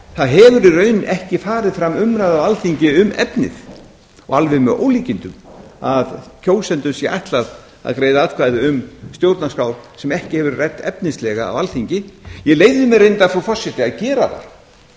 það hefur í raun ekki farið fram umræða á alþingi um efnið og alveg með ólíkindum að kjósendum sé ætlað að greiða atkvæði um stjórnarskrá sem ekki hefur verið rædd efnislega á alþingi ég leyfði mér reyndar frú forseti að gera